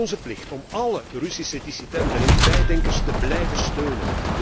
Het is onze plicht om alle Russische dissidenten en vrijdenkers te blijven steunen.